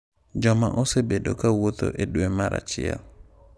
Joma osebedo ka wuotho e dwe mar 1.